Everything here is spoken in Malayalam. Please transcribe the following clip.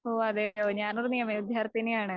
ഓ അതെയോ. ഞാനൊരു നിയമ വിദ്യാർത്ഥിനിയാണ്.